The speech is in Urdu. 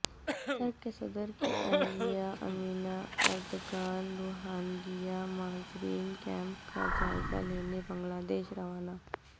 ترک صدر کی اہلیہ امینہ اردگان روہنگیا مہاجرین کمیپ کا جائزہ لینے بنگلہ دیش روانہ